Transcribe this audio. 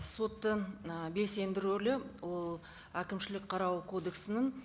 соттың ы белсенді рөлі ол әкімшілік қарау кодексінің